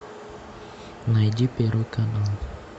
найди первый канал